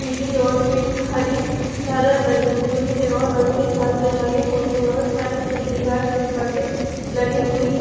पीली और पिंक हरी झालर लगी हुई है और रंगीन झालर लगी हुई है और साइड की दिवाल में पर्दे लगी हुई--